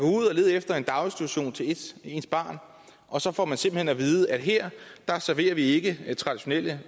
lede efter en daginstitution til ens ens barn og så får man simpelt hen at vide at her serverer vi ikke traditionel